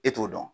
E t'o dɔn